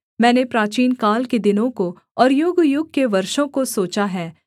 मैंने प्राचीनकाल के दिनों को और युगयुग के वर्षों को सोचा है